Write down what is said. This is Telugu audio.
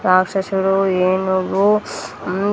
రాక్షసుడు ఏనుగు ఉం--